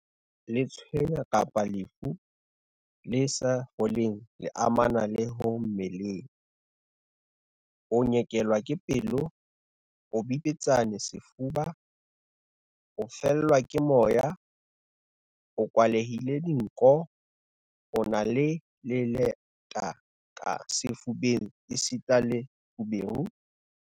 Letshweya kapa lefu le sa foleng le amanang le ho mmele, a nyekelwa ke pelo, a bipetsane sefuba, a fellwa ke moya, a kwalehile dinko, a na le leleta ka sefubeng esita le feberu.